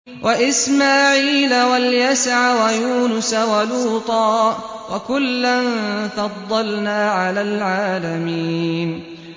وَإِسْمَاعِيلَ وَالْيَسَعَ وَيُونُسَ وَلُوطًا ۚ وَكُلًّا فَضَّلْنَا عَلَى الْعَالَمِينَ